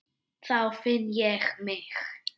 Þá finn ég mig.